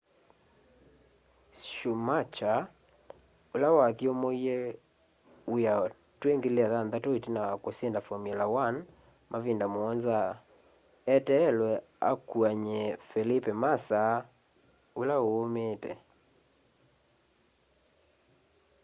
schumacher ula wathyumuie wia twi 2006 itina wa usinda formular 1 mavinda muonza eteelwe akuany'e felipe massa ula uumiite